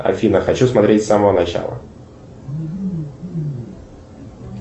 афина хочу смотреть с самого начала